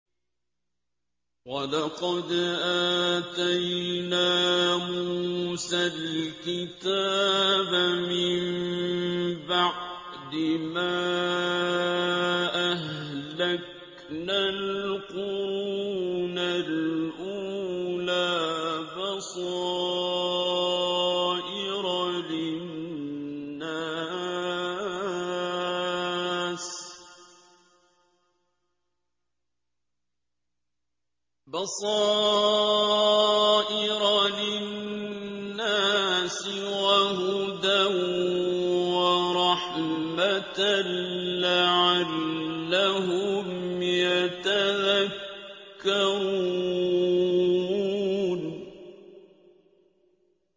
وَلَقَدْ آتَيْنَا مُوسَى الْكِتَابَ مِن بَعْدِ مَا أَهْلَكْنَا الْقُرُونَ الْأُولَىٰ بَصَائِرَ لِلنَّاسِ وَهُدًى وَرَحْمَةً لَّعَلَّهُمْ يَتَذَكَّرُونَ